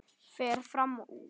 Fer fram úr.